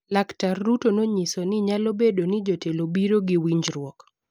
Laktar Ruto nonyiso ni nyalo bedo ni jotelo biro gi winjruok